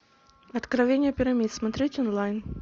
откровения пирамид смотреть онлайн